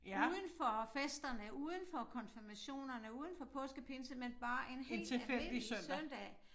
Udenfor festerne udenfor konfirmationerne udenfor påske pinse men bare en helt almindelig søndag